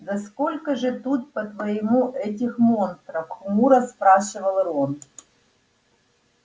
да сколько же тут по-твоему этих монстров хмуро спрашивал рон